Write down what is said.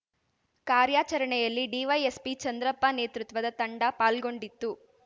ಕಾರ್ಯಾಚರಣೆಯಲ್ಲಿ ಡಿವೈಎಸ್‌ಪಿ ಚಂದ್ರಪ್ಪ ನೇತೃತ್ವದ ತಂಡ ಪಾಲ್ಗೊಂಡಿತ್ತು